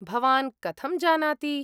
भवान् कथं जानाति?